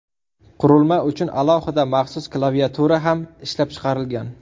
Qurilma uchun alohida maxsus klaviatura ham ishlab chiqilgan.